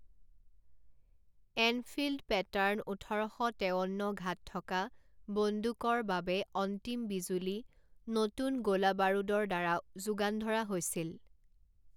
Enfield pattern ওঠৰ শ তেৱন্ন ঘাত থকা বন্দুকৰ বাবে অন্তিম বিজুলী নতুন গোলা বাৰুদৰ দ্বাৰা যোগান ধৰা হৈছিল।